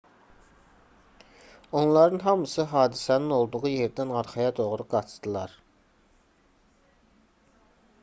onların hamısı hadisənin olduğu yerdən arxaya doğru qaçdılar